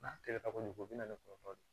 N'a kɛlen ka kojugu o bɛ na ni kɔrɔta de ye